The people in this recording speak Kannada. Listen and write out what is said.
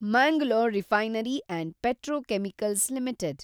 Mangalore refinery and petrochemicals limited